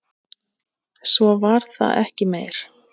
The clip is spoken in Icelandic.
Svo var það ekki meir.